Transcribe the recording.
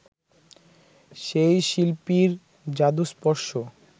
সেই শিল্পীর জাদুস্পর্শ